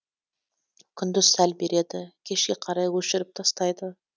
күндіз сәл береді кешке қарай өшіріп тастайды